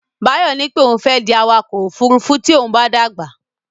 Báyọ̀ ní pé òun fẹ́ di awakọ̀ ófurufú tí òun bá dàgbà.